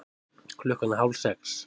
Klukkan er hálfsex.